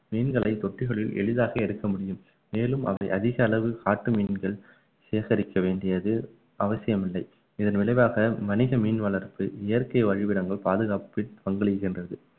மீன்களை தொட்டிகளில் எளிதாக எடுக்க முடியும் மேலும் அவை அதிக அளவு காட்டு மீன்கள் சேகரிக்க வேண்டியது அவசியமில்லை இதன் விளைவாக வணிக மீன் வளர்ப்பு இயற்கை வழிவிடங்கள் பாதுகாப்பில் பங்களிக்கின்றது